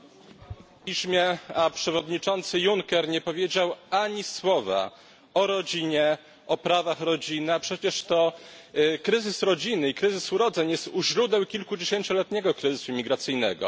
Mówi Pan o populizmie, a przewodniczący Juncker nie powiedział ani słowa o rodzinie, o prawach rodziny, a przecież to kryzys rodziny i kryzys urodzeń jest u źródeł kilkudziesięcioletniego kryzysu imigracyjnego.